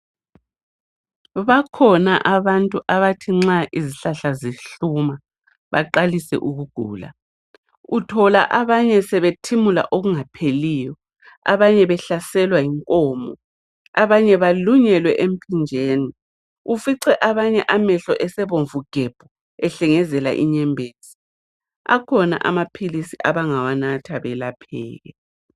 Bakhona abantu abathi nxa izihlahla zihluma baqalise ukugula. Uthola abanye sebethimula okungapheliyo abanye behlaselwa yinkomo abanye balunyelwe emphinjeni. Ufive abanye amehlo esebomvu gebhu ehlengezela inyembezi. Akhona amaphilisi abangawanatha belapheke.